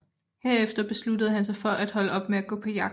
Herefter besluttede han sig for at holde op med at gå på jagt